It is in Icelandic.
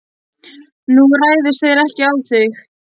Nú, réðust þeir ekki á þig?